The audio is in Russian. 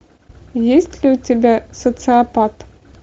есть ли у тебя социопат